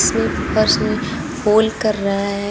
ये फर्श में होल कर रहा है।